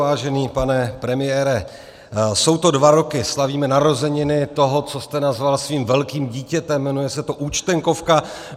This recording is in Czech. Vážený pane premiére, jsou to dva roky, slavíme narozeniny toho, co jste nazval svým velkým dítětem, jmenuje se to Účtenkovka.